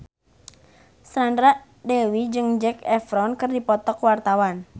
Sandra Dewi jeung Zac Efron keur dipoto ku wartawan